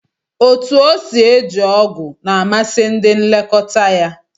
Otú o si eji ogụ̀ na amasị ndị nlekọta ya